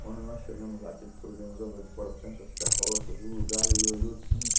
Quando nós chegamos lá, que ele foi vendo lá do lado de fora tantas carroças, o lugar, ele olhou tudo.